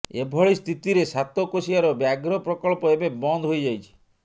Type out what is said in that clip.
ଏଭଳି ସ୍ଥିତିରେ ସାତକୋଶିଆର ବ୍ୟାଘ୍ର ପ୍ରକଳ୍ପ ଏବେ ବନ୍ଦ ହୋଇଯାଇଛି